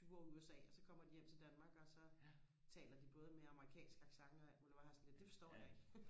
tyve år i USA og så kommer de hjem til Danmark og så taler de både med amerikansk accent og alt muligt hvor jeg har det sådan lidt det forstår jeg ikke